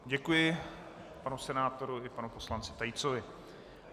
Děkuji panu senátoru i panu poslanci Tejcovi.